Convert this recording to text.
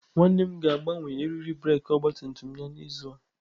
Nwanne m ga-agbanwe eriri breeki ọgabtumtum ya n'izu a.